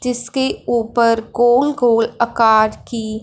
जिसके ऊपर गोल गोल आकार की--